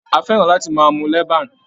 A fẹ́ràn láti máa mu leban.